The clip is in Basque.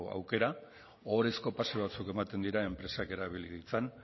aukera ohorezko pasu batzuk ematen dira enpresak erabili ditzan